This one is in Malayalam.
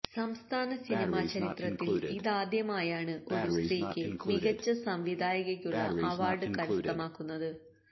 സംസ്ഥാന സിനിമാ ചരിത്രത്തിൽ ഇതാദ്യമായാണ് ഒരു സ്ത്രീക്ക് മികച്ച സംവിധായകക്കുള്ള അവാർഡ് കരസ്ഥമാക്കുന്നത്